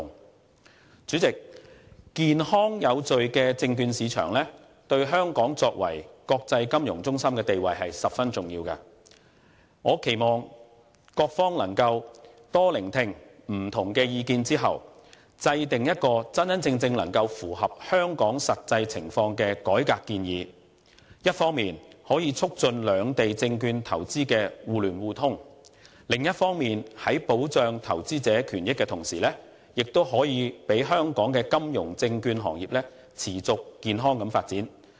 代理主席，健康有序的證券市場對香港作為國際金融中心的地位是十分重要的，我期望各方在多聆聽不同的意見後，制訂真正能夠符合香港實際情況的改革建議，一方面促進兩地證券投資的互聯互通，另一方面，在保障投資者權益的同時，讓香港的金融證券行業持續健康地發展。